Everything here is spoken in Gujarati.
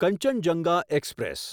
કંચનજંગા એક્સપ્રેસ